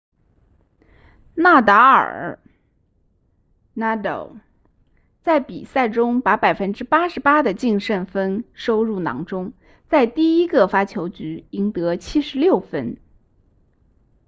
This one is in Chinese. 纳达尔 nadal 在比赛中把 88% 的净胜分收入囊中在第一个发球局赢得76分